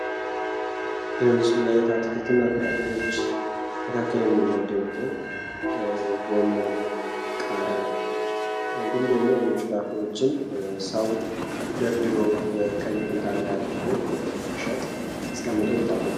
በምስል ላይ አትክልትና ፍራፍሬዎች መካከል የሚመደቡትን ጎመን ቃሪያ እንዲሁም ደግሞ ሌሎች ፍራፍሬዎችን ሰው ደርድሮ በቀይ ኩንታል ላይ አድርጎ ለመሸጥ አስቀምጦ ይታያል።